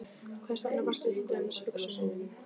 Hversvegna vakti til dæmis hugsunin um